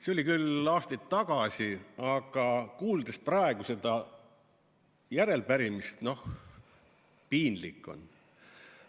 See oli küll aastaid tagasi, aga kuulates praegu seda arupärimist – noh, piinlik on.